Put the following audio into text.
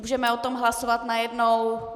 Můžeme o tom hlasovat najednou?